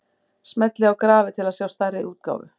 Smellið á grafið til að sjá stærri útgáfu.